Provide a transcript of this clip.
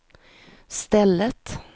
stället